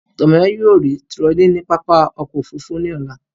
Tomiwa yóò rí tirọlí ní pápá ọkọ̀-òfurufú lọ́la.